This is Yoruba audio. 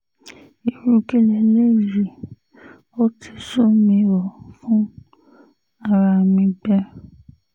irú kí leléyìí ó ti sú mi ó fún ara mi gbé